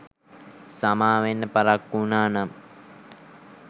සමාවෙන්න පරක්කු වුනානම්.